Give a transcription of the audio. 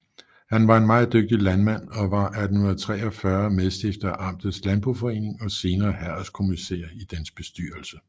Han var en meget dygtig landmand og var 1843 medstifter af amtets landboforening og senere herredskommissær i dens bestyrelse